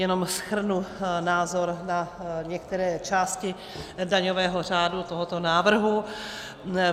Jenom shrnu názor na některé části daňové řádu tohoto návrhu.